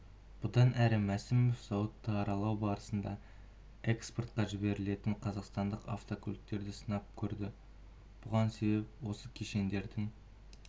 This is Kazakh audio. бұдан әрі мәсімов зауытты аралау барысында экспортқа жіберілетін қазақстандық автокөліктерді сынап көрді бұған себеп осы кешендердің